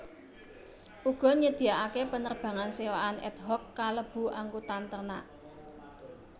Uga nyediakaké penerbangan sewaan ad hoc kalebu angkutan ternak